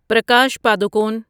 Prakash Padukone